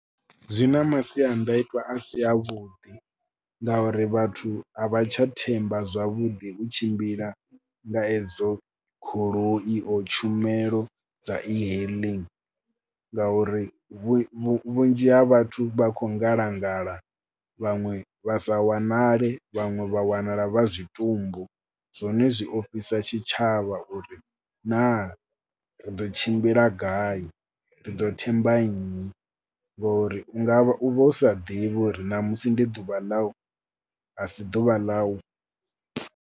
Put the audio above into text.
Zwi na masiandaitwa a si avhuḓi ngauri vhathu a vha tsha themba zwavhuḓi u tshimbila nga edzo goloi o tshumelo dza ehailing ngauri vhu vhunzhi ha vhathu vha khou ngalangala, vhaṅwe vha sa wanale, vhaṅwe vha wanala vha zwitumbu. Zwone zwi a ofhisa tshitshavha uri naa ri ḓo tshimbila gai, ri ḓo themba nnyi. Ngori u nga, u vha u sa ḓivhi uri ṋamusi ndi ḓuvha ḽau, a si ḓuvha ḽau.